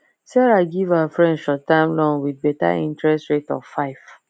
sarah give her friends shortterm loan with better interest rate of five